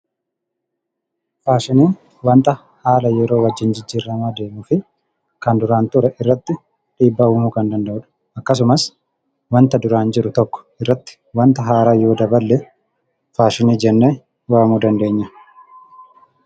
Faashiniin waanta haala yeroo wajjin jijjiiramaa deemuu fi kan duraan ture irratti dhiibbaa uumuu kan danda'udha. Akkasumas waanta duraan jiru tokko irratti waanta haaraa yoo daballee faashinii jennee waamuu dandeenya.